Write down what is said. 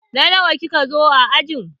Na nawa ki ka zo a aji?